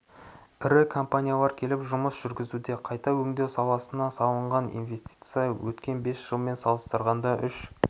ірі компаниялар келіп жұмыс жүргізуде қайта өңдеу саласына салынған инвестиция өткен бес жылмен салыстырғанда үш